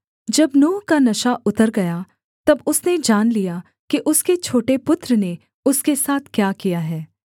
जब नूह का नशा उतर गया तब उसने जान लिया कि उसके छोटे पुत्र ने उसके साथ क्या किया है